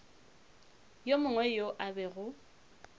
yo mongwe yo a bego